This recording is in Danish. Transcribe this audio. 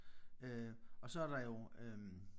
Øh og så der jo øh